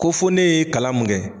Ko fo ne ye kalan mun kɛ.